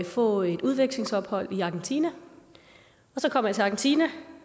få et udvekslingsophold i argentina så kom jeg til argentina